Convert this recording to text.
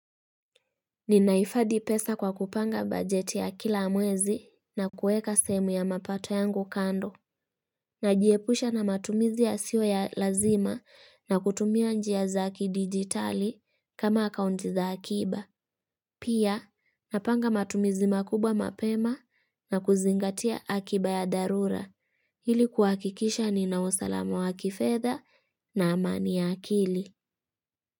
Ninaifadi pesa kwa kupanga bajeti ya kila mwezi na kueka sehemu ya mapato yangu kando. Najiepusha na matumizi yasiwo ya lazima na kutumia njia zakidigitali kama akaundi za akiba. Pia napanga matumizi makubwa mapema na kuzingatia akiba ya darura. Hili kuakikisha ninaosalama wa kifeda na amani ya akili.